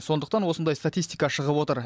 сондықтан осындай статистика шығып отыр